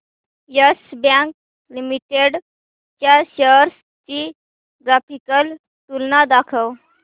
yes Bank Limited च्या shares ची graphical तुलना दाखव